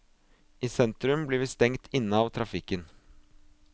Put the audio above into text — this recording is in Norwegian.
I sentrum blir vi stengt inne av trafikken.